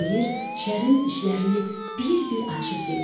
Xeyir Şərin işlərini bir-bir açıb dedi.